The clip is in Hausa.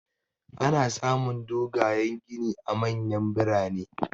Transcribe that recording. Ana samun dogayan gini a manyan birane.